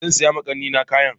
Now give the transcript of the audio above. Zansiya ma kannina kayan.